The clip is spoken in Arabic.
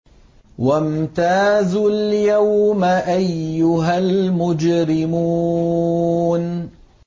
وَامْتَازُوا الْيَوْمَ أَيُّهَا الْمُجْرِمُونَ